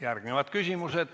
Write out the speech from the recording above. Järgnevad küsimused.